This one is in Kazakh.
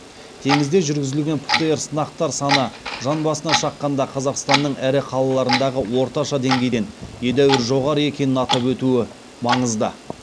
теңізде жүргізілген птр сынақтар саны жан басына шаққанда қазақстанның ірі қалаларындағы орташа деңгейден едәуір жоғары екенін атап өтуі маңызды